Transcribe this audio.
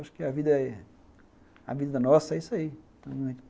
Acho que a vida é, a vida nossa é isso aí.